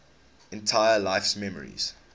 entire life's memories